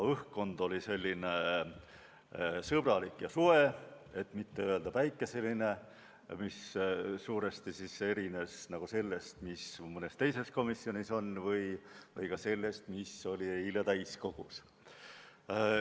Õhkkond oli sõbralik ja soe, et mitte öelda päikeseline, ning erines suuresti sellest, mis mõnes teises komisjonis on olnud, või ka sellest, mis oli eile täiskogus.